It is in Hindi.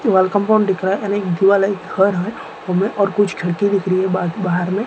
वॉल कंपाउंड दिख रहा है एंड एक दीवाल है घर है हमें और कुछ खिड़की दिख रही है बा बाहर में --